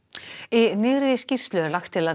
í nýrri skýrslu er lagt til að